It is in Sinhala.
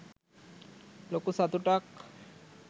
ලොකු සතුටක්